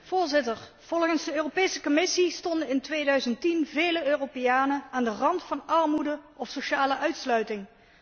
Voorzitter, volgens de Europese Commissie stonden in 2010 vele Europeanen aan de rand van armoede of sociale uitsluiting.